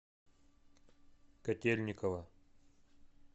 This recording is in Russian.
котельниково